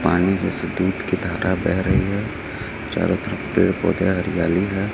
पानी में से दूध की धारा बह रही है चारों तरफ पेड़ पौधे हरियाली है।